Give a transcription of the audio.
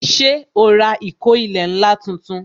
Ṣé o ra ìkó ilẹ̀ ńlá tuntun